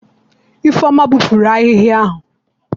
Ifeoma gbupuru ahihia ahu?